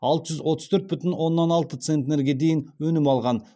алты жүз отыз төрт бүтін оннан алты центнерге дейін өнім алған